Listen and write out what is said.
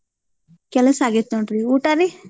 ಕೆಲ್ಸ ಆಗೇತ್ನೋಡ್ರಿ, ಊಟಾ ರೀ?